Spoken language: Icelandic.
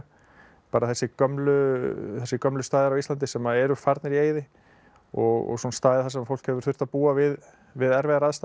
bara þessir gömlu þessir gömlu staðir á Íslandi sem að eru farnir í eyði og svona staðir þar sem fólk hefur þurft að búa við við erfiðar aðstæður